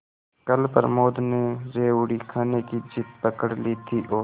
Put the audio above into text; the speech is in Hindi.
कल प्रमोद ने रेवड़ी खाने की जिद पकड ली थी और